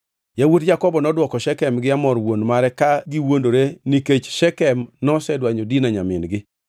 Yawuot Jakobo nodwoko Shekem gi Hamor wuon mare ka giwuondore nikech Shekem nosedwanyo Dina nyamin-gi.